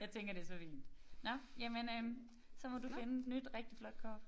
Jeg tænker det så fint nåh jamen øh så må du finde et nyt rigtig flot kort